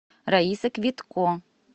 раиса квитко